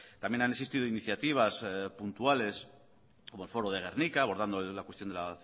también han existidos iniciativas puntuales como el foro de gernika abordando la cuestión de la